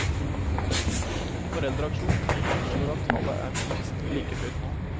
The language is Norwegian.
Foreldreaksjonen anslår at tallet er minst like høyt nå.